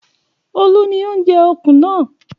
Olu ni ó ń jẹ ọ̀kùn náà.